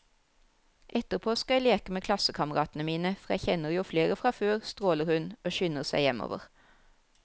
Etterpå skal jeg leke med klassekameratene mine, for jeg kjenner jo flere fra før, stråler hun og skynder seg hjemover.